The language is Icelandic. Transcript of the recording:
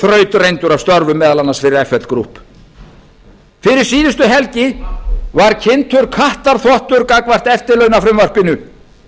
þrautreyndur af störfum fyrir meðal annars fl group fyrir síðustu helgi var kynntur kattarþvottur gagnvart eftirlaunafrumvarpinu